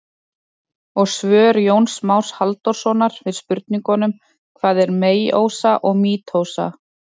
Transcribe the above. Og svör Jóns Más Halldórssonar við spurningunum: Hvað er meiósa og mítósa?